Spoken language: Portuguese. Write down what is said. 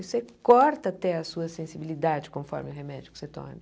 Você corta até a sua sensibilidade conforme o remédio que você tome.